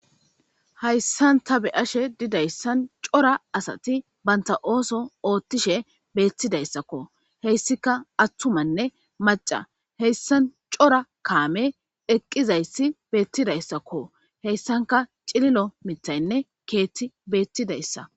Hayisani ta beyashe dizayisan cora asati banita oso oththishe betidayisakko hesikka atumatinne macca hesani cora kameti eqidayisi betidayisakko hesanikka cililo miththayinne keeththeti betidayisa